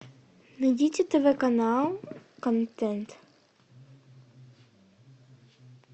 найдите тв канал контент